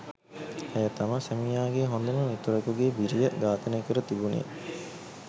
ඇය තම සැමියාගේ හොඳම මිතුරකුගේ බිරිය ඝාතනය කර තිබුණේ